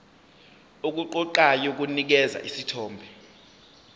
okuqoqayo kunikeza isithombe